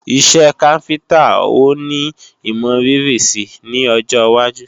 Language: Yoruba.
Iṣẹ́ káfíntá ó ní imọrírì si ní ọjọwájú